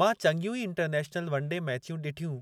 मां चंङियूं ई इंटरनेशनल वन डे मैचियूं ॾिठियूं